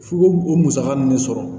F'u ko o musaka ninnu de sɔrɔ